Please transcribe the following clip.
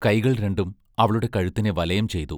കൈകൾ രണ്ടും അവളുടെ കഴുത്തിനെ വലയം ചെയ്തു.